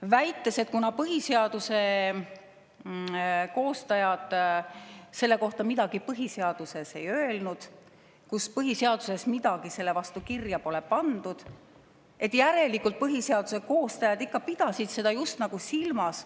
Väideti, et kuna põhiseaduse koostajad põhiseaduses selle kohta midagi ei öelnud, kuna põhiseaduses midagi selle vastu kirja pole pandud, siis järelikult pidasid põhiseaduse koostajad ikka just nagu seda silmas.